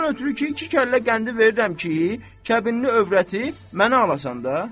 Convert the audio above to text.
Ondan ötrü ki, iki kəllə qəndi verirəm ki, kəbinli övrəti mənə alasan da.